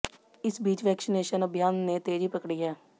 इस बीच वैक्सीनेशन अभियान ने तेजी पकड़ी है